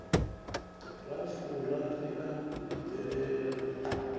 ra fura ri a vhidzelela